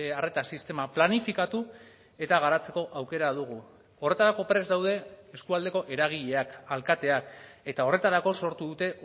arreta sistema planifikatu eta garatzeko aukera dugu horretarako prest daude eskualdeko eragileak alkateak eta horretarako sortu dute